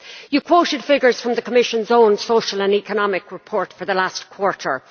You quoted figures from the Commission's own social and economic report for the last quarter.